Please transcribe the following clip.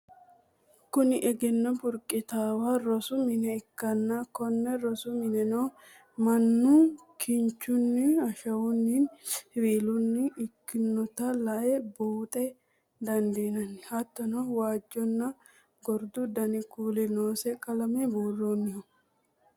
kuni egenno burqitannowa rosu mine ikkanna, konne rosu mineno minnoonnihu kinchunni, ashawunninna siwiilunni ikkinota la'ne buuxa dandiinanni. hattono waajjonna gordu dani kuuli noose qalame buurroonniho.